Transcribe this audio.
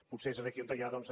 potser és aquí on hi ha doncs